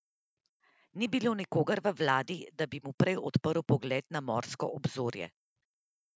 Ni bilo nikogar v vladi, da bi mu prej odprl pogled na morsko obzorje?